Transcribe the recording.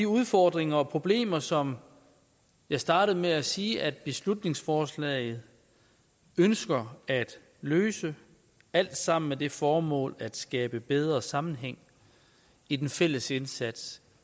udfordringer og problemer som jeg startede med at sige at beslutningsforslaget ønsker at løse alt sammen med det formål at skabe bedre sammenhæng i den fælles indsats